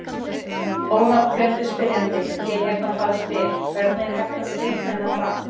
Ónafngreindur spyrjandi: Ég hérna bara spyr: Hvernig er hægt að skilgreina það?